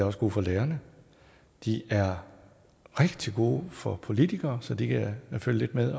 også gode for lærerne de er rigtig gode for politikere så de kan følge lidt med